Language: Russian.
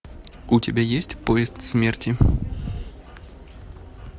у тебя есть поезд смерти